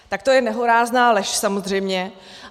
Tak to je nehorázná lež, samozřejmě.